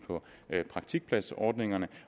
praktikpladsordningerne